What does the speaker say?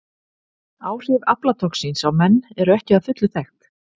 Áhrif aflatoxíns á menn eru ekki að fullu þekkt.